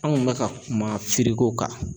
An kun bɛ ka kuma firiko kan